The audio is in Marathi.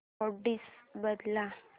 अॅड्रेस बदल